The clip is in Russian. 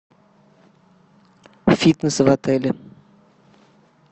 фитнес в отеле